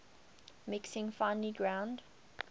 mixing finely ground